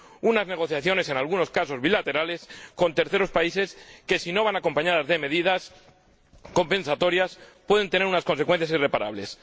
unas negociaciones, en algunos casos bilaterales, con terceros países, que, si no van acompañadas de medidas compensatorias, pueden tener unas consecuencias irreparables.